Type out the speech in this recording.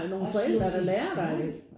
Også med sådan sløjd